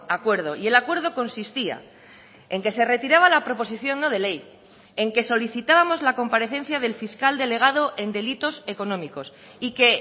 acuerdo y el acuerdo consistía en que se retiraba la proposición no de ley en que solicitábamos la comparecencia del fiscal delegado en delitos económicos y que